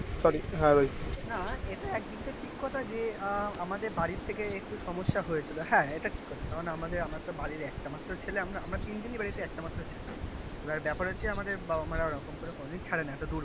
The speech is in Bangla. না এটা একদিক থেকে ঠিক কথা যে আহ আমাদের বাড়ি থেকে একটু সমস্যা হয়েছিল. হ্যাঁ এটা ঠিক কথা কারণ আমাদের আমরা তো বাড়ির একটা ছেলে আমরা তিন জনই বাড়িতে একটা মাত্র ছেলে এবার ব্যাপার হচ্ছে আমাদের বাবা-মা রা ওরকম করে কোনদিন ছাড়ে না এত দূর করে.